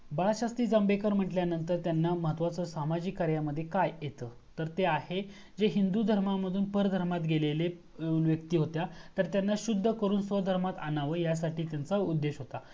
बाळशास्त्री जांभेकर म्हंटलं तर त्यांना महत्वाचा सामाजिक कार्यामध्ये काय येत. तर ते आहे जे हिंदू धर्मामधून परधर्मात गेलेले व्यक्ति होता तर त्यांना शुद्ध करून, स्वह धर्मात आणाव या साठी त्यांचा उद्देश होत.